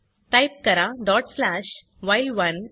type करा dot slash व्हाईल1